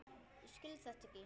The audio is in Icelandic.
Ég skil þetta ekki.